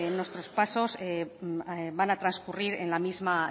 bueno nuestros pasos van a transcurrir en la misma